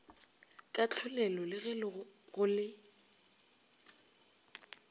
kahlolelo le ge go le